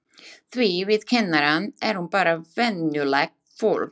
Því við kennarar erum bara venjulegt fólk.